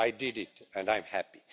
I did it, and I'm happy.